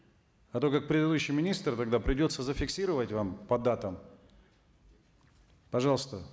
а то как предыдущий министр тогда придется зафиксировать вам по датам пожалуйста